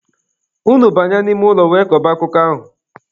Unu banye n'ime ụlọ wee kọba akụkọ ahụ!